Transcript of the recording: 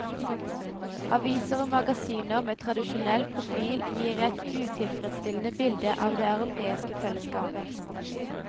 Aviser og magasiner med tradisjonell profil gir et utilfredsstillende bilde av det europeiske fellesskapet.